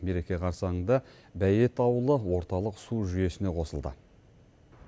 мереке қарсаңында бәйет ауылы орталық су жүйесіне қосылды